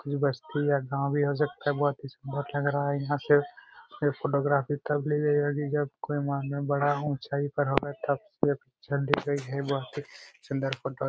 कुछू बस्ती या गांव भी हो सकता है बहुत स्मार्ट लग रहा है यहां पे ये फोटोग्राफी तब ली गई होगी जब कोई मानव बड़ा ऊंचाई पर होगा तब बहुत ही सुंदर फोटो--